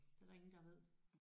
Det er der ingen der ved?